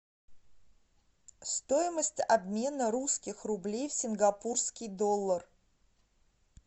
стоимость обмена русских рублей в сингапурский доллар